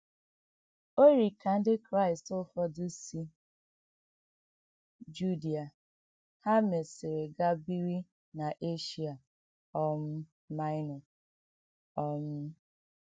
Ọ̀ yiri ka Ndị Kraịst ụfọdụ si Judia hà mesịrị gaa biri n’Eshia um Maịnọ. um